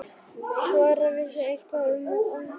Sævar vissi eitthvað um afdrif Geirfinns.